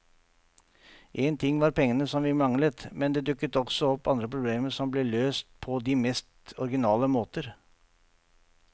En ting var pengene som vi manglet, men det dukket også opp andre problemer som ble løst på de mest originale måter.